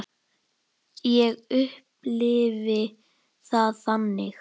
Ég upplifi það þannig.